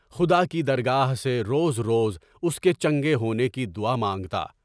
خدا کی درگاہ سے روز روز اس کے چنگے ہونے کی دعا مانگتا۔